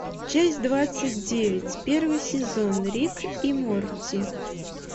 часть двадцать девять первый сезон рик и морти